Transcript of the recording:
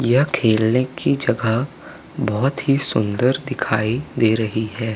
यह खेलने की जगह बहोत ही सुंदर दिखाई दे रही है।